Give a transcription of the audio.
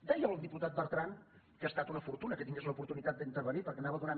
deia el diputat bertran que ha estat una fortuna que tingués l’oportunitat d’intervenir perquè m’anava donant